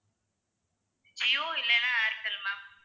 ஜியோ இல்லன்னா ஏர்டெல் ma'am